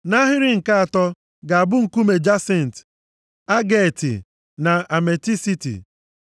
Nʼahịrị nke atọ ga-abụ nkume jasint, ageeti na ametisiti.